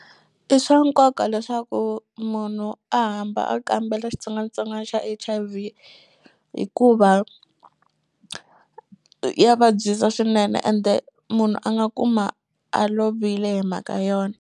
I swa nkoka leswaku munhu a hamba a kambela xitsongwatsongwana xa H_I_V hikuva ya vabyisa swinene ende munhu a nga kuma a lovile hi mhaka yona.